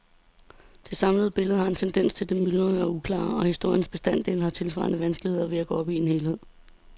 Det samlede billede har en tendens til det myldrende og uklare, og historiens bestanddele har tilsvarende vanskeligheder ved at gå op i en helhed.